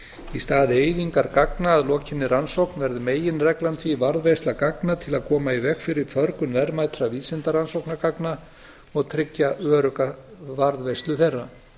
í stað eyðingar gagna að lokinni rannsókn verður meginreglan því varðveisla gagna til að koma í veg fyrir förgun verðmætra vísindarannsóknargagna og tryggja örugga varðveislu þeirra